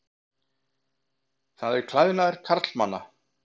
Það er klæðnaður karlmanna.